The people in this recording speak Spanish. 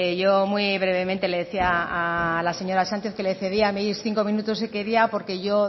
yo muy brevemente le decía a la señora sánchez que le cedía mis cinco minutos si quería porque yo